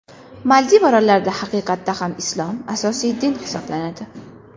Maldiv orollarida haqiqatda ham islom – asosiy din hisoblanadi.